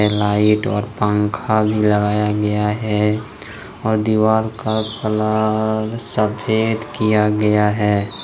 Light और पंखा भी लगाया गया है और दीवार का कलर सफेद किया गया है।